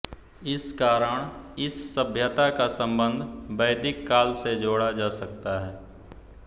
इस कारण इस सभ्यता का संबंध वैदिक काल से जोड़ा जा सकता है